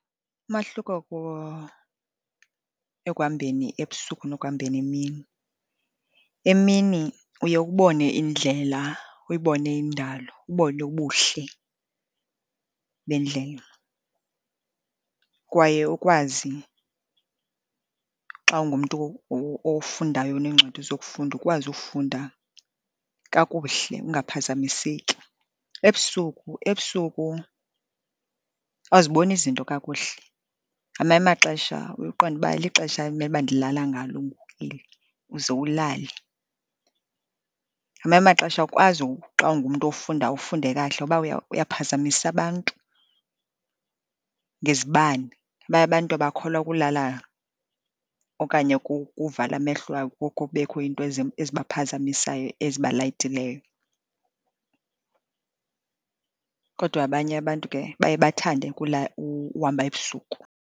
Umahluko ekuhambeni ebusuku nokuhambeni emini, emini uye ubone indlela, uyibone indalo, ubone ubuhle bendlela, kwaye ukwazi xa ungumntu ofundayo oneencwadi zokufunda ukwazi ufunda kakuhle, ungaphazamiseki. Ebusuku, ebusuku awuziboni izinto kakuhle. Ngamanye amaxesha uye uqonde uba lixesha elimele uba ndilala ngalo ngoku eli, uze ulale. Ngamanye amaxesha awukwazi xa ungumntu ofundayo, ufunde kakuhle ngoba uyaphazamisa abantu ngezibane. Abanye abantu abakholwa kulala okanye kukuvala amehlo abo kubekho into ezibaphazamisayo ezibalayitileyo, kodwa abanye abantu ke baye bathande uhamba ebusuku.